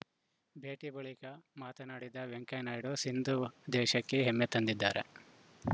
ಭೇಟಿ ಬಳಿಕ ಮಾತನಾಡಿದ ವೆಂಕಯ್ಯ ನಾಯ್ಡು ಸಿಂಧು ದೇಶಕ್ಕೆ ಹೆಮ್ಮೆ ತಂದಿದ್ದಾರೆ